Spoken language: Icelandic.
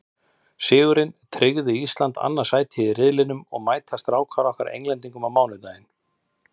Sigurinn tryggði Íslandi annað sætið í riðlinum og mæta Strákarnir okkar því Englendingum á mánudaginn.